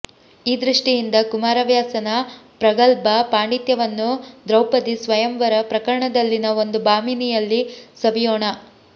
ಈ ದೃಷ್ಟಿಯಿಂದ ಕುಮಾರವ್ಯಾಸನ ಪ್ರಗಲ್ಭ ಪಾಂಡಿತ್ಯವನ್ನು ದ್ರೌಪದೀ ಸ್ವಯಂವರ ಪ್ರಕರಣದಲ್ಲಿನ ಒಂದು ಭಾಮಿನಿಯಲ್ಲಿ ಸವಿಯೋಣ